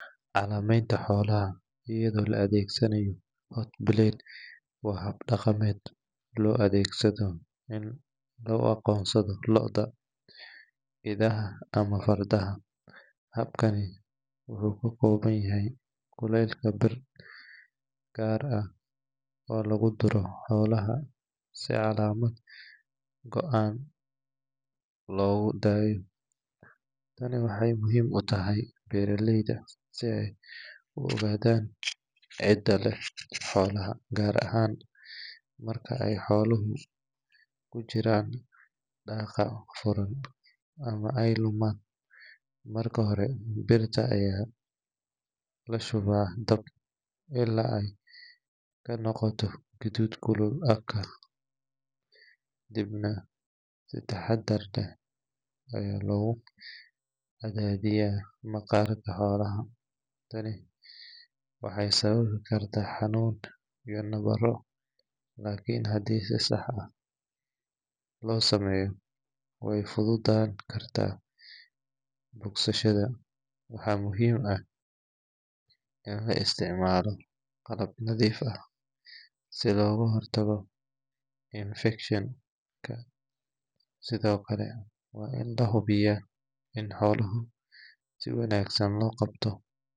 Calameenta xolaha ayado la adeegsanaayo hot blade ,tani waxaay muhiim utahay beeraleyda si aay u ogadan cida leh xoolaha, gaar ahaan markaay xoalaha Suman, marka hore birta ayaa lagaliya dab kadibna maqarka xoolaha ayaa lagaliya, tani waxeey keeni kartaa xanunn, waana muhiim in la isticmaalo qalab nadiif ah si looga hor tago infection ,waana lahubiyaa in xoolaha si wanagsan loo qabte.